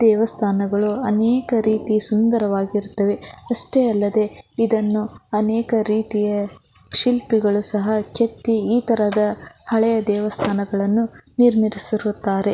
ದೇವಸ್ಥಾನಗಳು ಅನೇಕ ರೀತಿ ಸುಂದರವಾಗಿರುತ್ತವೆ ಅಷ್ಟೆ ಅಲ್ಲದೆ ಇದನ್ನು ಅನೇಕ ರೀತಿಯ ಶಿಲ್ಪಿಗಳು ಸಹ ಕೆತ್ತಿ ಈ ತರಹದ ಹಳೆಯ ದೇವಸ್ಥಾನಗಳನ್ನು ನಿರ್ಮಿಸಿರುತ್ತಾರೆ.